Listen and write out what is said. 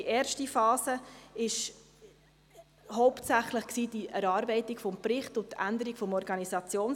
Die erste Phase beinhaltete hauptsächlich die Erarbeitung des Berichts und die Änderung des OrG;